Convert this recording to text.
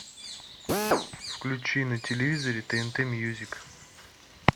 включи на телевизоре тнт мьюзик